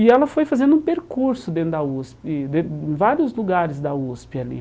E ela foi fazendo um percurso dentro da USP, em vários lugares da USP ali.